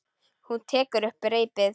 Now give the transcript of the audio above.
Hún tekur upp reipið.